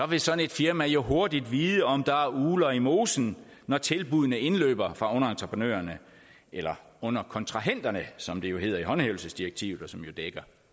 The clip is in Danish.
vil sådan et firma jo hurtigt vide om der er ugler i mosen når tilbuddene indløber fra underentreprenørerne eller underkontrahenterne som det jo hedder i håndhævelsesdirektivet og som jo dækker